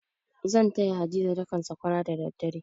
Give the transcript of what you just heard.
Zan taya Hadiza dakan sakwara da dare.